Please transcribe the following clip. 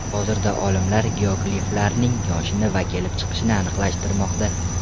Hozirda olimlar geogliflarning yoshini va kelib chiqishini aniqlashtirmoqda.